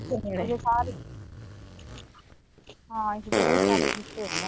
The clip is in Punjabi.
ਉਹਦੇ ਨਾਲ ਹੀ ਹਾਂ ਤੇ ਜਿਹੜੇ ਸਾਥੀ .